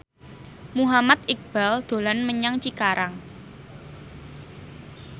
Muhammad Iqbal dolan menyang Cikarang